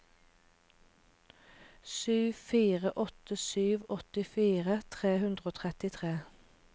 sju fire åtte sju åttifire tre hundre og trettitre